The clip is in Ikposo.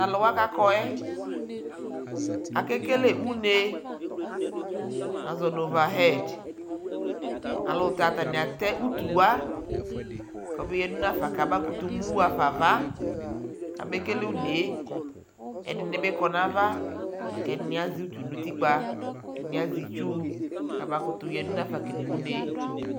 Talʋwa kʋ akɔ yɛ akekele une azɔ nʋ ovahɛd Ayʋɛlʋtɛ atani atɛ utuwa kʋ abeya dʋ nʋ afa kabakutu mu aɣafa nʋ ava kʋ abekele unee Ɛdι nι bι kɔ nʋ ava la kʋ ɛdι nι azɛ utu nʋ utikpa, ɛdini azɛ itsu kʋ abakutʋ yadʋ nafa kele unee